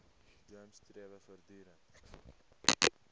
gems strewe voortdurend